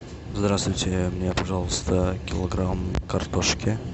здравствуйте мне пожалуйста килограмм картошки